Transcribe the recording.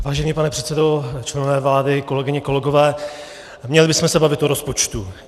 Vážený pane předsedo, členové vlády, kolegyně, kolegové, měli bychom se bavit o rozpočtu.